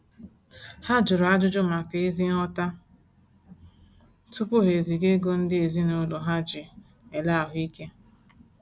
Ha jụrụ ajụjụ maka ézí nghọta tupu ha eziga ego ndị ezinaụlọ ha ji ele ahuike